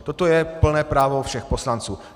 Toto je plné právo všech poslanců.